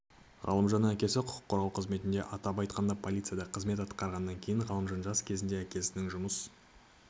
ғалымжанның әкесі құқық қорғау қызметінде атап айтқанда полицияда қызмет атқарғаннан кейін ғалымжан жас кезінен әкесінің жұмыс